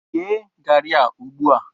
Yee garri a ugbu a!